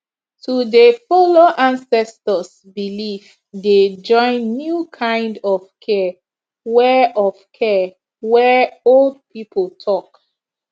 to dey follow ancestors belief dey join new kind of care wey of care wey old people talk